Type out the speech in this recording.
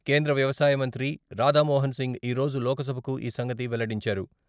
కేంద్ర వ్యవసాయ మంత్రి రాధామోహన్సింగ్ ఈరోజు లోక్సభకు ఈ సంగతి వెల్లడించారు.